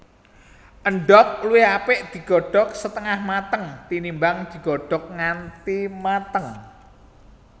Endhog luwih apik digodhog setengah mateng tinimbang digodhog nganti mateng